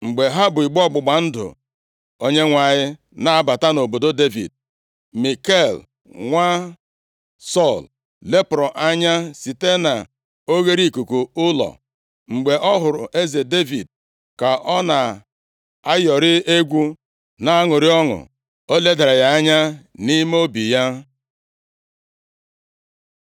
Mgbe ha bu igbe ọgbụgba ndụ Onyenwe anyị na-abata nʼobodo Devid, Mikal nwa Sọl, lepụrụ anya site na oghereikuku ụlọ. Mgbe ọ hụrụ eze Devid ka ọ na-ayọrị egwu na-aṅụrị ọṅụ, o ledara ya anya nʼime obi ya.